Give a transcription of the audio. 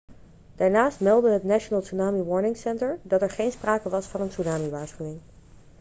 daarnaast meldde het national tsunami warning center dat er geen sprake was van een tsunami-waarschuwing